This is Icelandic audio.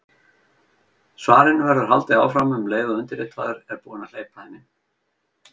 Svarinu verður haldið áfram um leið og undirritaður er búinn að hleypa þeim inn.